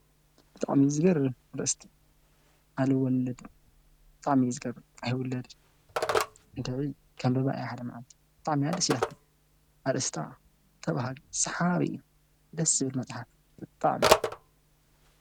ብጣዕሚ ዝገርም ኣርእስቲ ኣልወለድም ብጣዕሚ እዩ ዝገርም ኣይውለድን እንድዒ ከንብባ እየ ሓደ መዓልቲ፡፡ ብጣዕሚ እያ ደስ ኢላትኒ፡፡ ኣርስታ ተባሃጊ፣ ሰሓቢ እዩ፡፡ ደስ ዝብል መፅሓፍ ብጣዕሚ፡፡